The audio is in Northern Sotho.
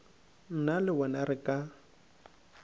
nna le wena re ka